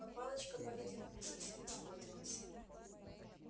но палочка по-видимому совсем испортилась